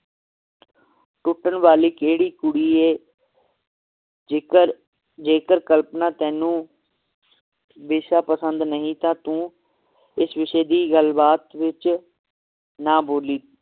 ਟੁੱਟਣ ਵਾਲੀ ਕਿਹੜੀ ਕੁੜੀ ਏ ਜੇਕਰ ਜੇਕਰ ਕਲਪਨਾ ਤੈਨੂੰ ਵਿਸ਼ਾ ਪਸੰਦ ਨਹੀ ਤਾਂ ਤੂੰ ਇਸ ਵਿਸ਼ੇ ਦੀ ਗੱਲ ਬਾਤ ਵਿਚ ਨਾ ਬੋਲੀ